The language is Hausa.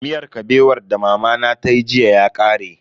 Miyar Kabewar da mamana tayi jiya ya kare.